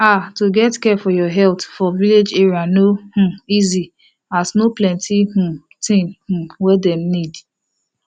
ah to get care for your health for village area no um easy as no plenti um thing um wey dem need